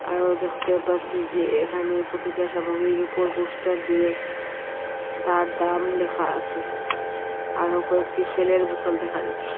আরও দেখতে পারসি যে এহানে প্রতিটা সামগ্রীর উপর পোস্টার দিয়ে তার দাম লেখা আসে আরো কয়েকটি তেলের বোতল দেখা যাচ্ছে।